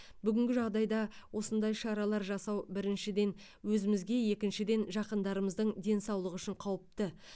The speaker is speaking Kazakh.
бүгінгі жағдайда осындай шаралар жасау біріншіден өзімізге екіншіден жақындарымыздың денсаулығы үшін қауіпті